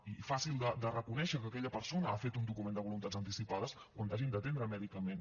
i fàcil de reconèixer que aquella persona ha fet un document de voluntats anticipades quan t’hagin d’atendre mèdicament